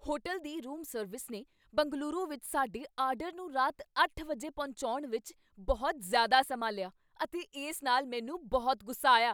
hotel ਦੀ room service ਨੇ ਬੰਗਲੁਰੂ ਵਿੱਚ ਸਾਡੇ ਆਰਡਰ ਨੂੰ ਰਾਤ ਅੱਠ ਵਜੇ ਪਹੁੰਚਾਉਣ ਵਿੱਚ ਬਹੁਤ ਜ਼ਿਆਦਾ ਸਮਾਂ ਲਿਆ ਅਤੇ ਇਸ ਨਾਲ ਮੈਨੂੰ ਬਹੁਤ ਗੁੱਸਾ ਆਇਆ